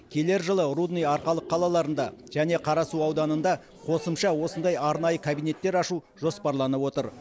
келер жылы рудный арқалық қалаларында және қарасу ауданында қосымша осындай арнайы кабинеттер ашу жоспарланып отыр